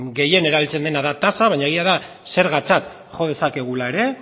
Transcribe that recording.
gehien erabiltzen dena da tasa baina egia da zergatzat jo dezakegula ere